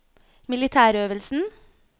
militærøvelsen